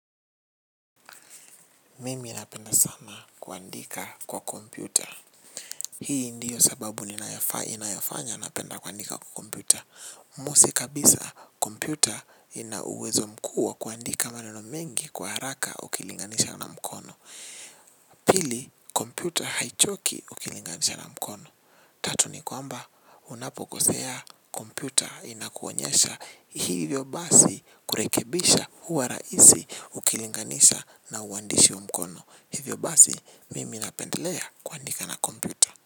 Mimi napenda sana kuandika kwa computer, hii ndiyo sababu inayo fanya napenda kuadika kwa computer Musi kabisa kompyuta ina uwezo mkua kuandika maneno mengi kwa haraka ukilinganisha na mkono. Pili kompyuta haichoki ukilinganisha na mkono. Tatu ni kwamba unapokosea kompyuta inakuonyesha. Hivyo basi kurekebisha huwa raisi ukilinganisha na uandishi wa mkono. Hivyo basi mimi napendalea kuandika na komputer.